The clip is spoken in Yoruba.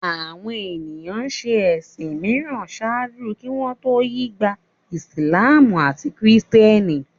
Àwọn ènìyàn ń ṣe ẹ̀sìn mìíràn ṣáájú kí wọ́n tó yí gba Ìsìlámù àti Kìrìtẹ́nì